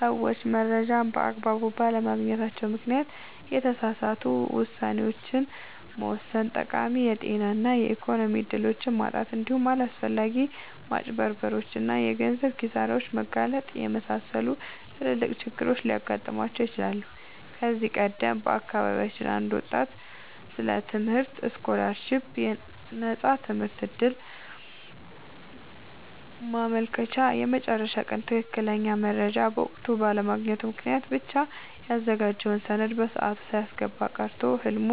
ሰዎች መረጃን በአግባቡ ባለማግኘታቸው ምክንያት የተሳሳቱ ውሳኔዎችን መወሰን፣ ጠቃሚ የጤና እና የኢኮኖሚ እድሎችን ማጣት፣ እንዲሁም ለአላስፈላጊ ማጭበርበሮች እና የገንዘብ ኪሳራዎች መጋለጥን የመሰሉ ትላልቅ ችግሮች ሊገጥሟቸው ይችላሉ። ከዚህ ቀደም በአካባቢያችን አንድ ወጣት ስለ ትምህርት ስኮላርሺፕ (የነፃ ትምህርት ዕድል) ማመልከቻ የመጨረሻ ቀን ትክክለኛውን መረጃ በወቅቱ ባለማግኘቱ ምክንያት ብቻ ያዘጋጀውን ሰነድ በሰዓቱ ሳያስገባ ቀርቶ ህልሙ